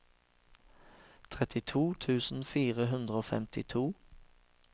trettito tusen fire hundre og femtito